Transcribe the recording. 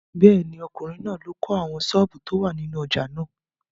Bẹ́ẹ̀ni, ọkùnrin náà ló kọ́ àwọn sọ́ọ̀bù tó wà nínú ojà náà.